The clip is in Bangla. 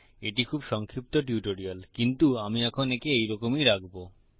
এটি খুব সংক্ষিপ্ত টিউটোরিয়াল কিন্তু আমি এখন একে এই রকমই রাখবো